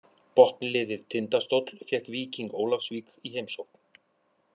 Botnliðið Tindastóll fékk Víking Ólafsvík í heimsókn.